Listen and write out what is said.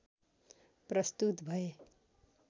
प्रस्तुत भए